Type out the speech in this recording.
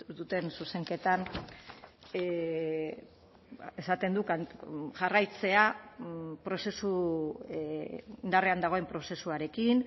duten zuzenketan esaten du jarraitzea prozesu indarrean dagoen prozesuarekin